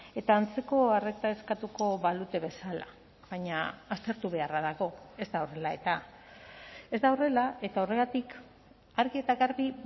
eta antzeko arreta eskatuko balute bezala baina aztertu beharra dago ez da horrela eta ez da horrela eta horregatik argi eta garbi